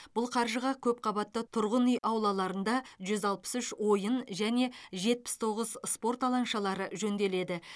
бұл қаржыға көпқабатты тұрғын үй аулаларында жүз алпыс үш ойын және жетпіс тоғыз спорт алаңшалары жөнделеді